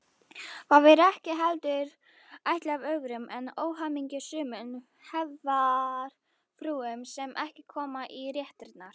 Það er ekki heldur ætlað öðrum en óhamingjusömum hefðarfrúm sem ekki koma í réttirnar.